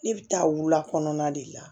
Ne bɛ taa wula kɔnɔna de la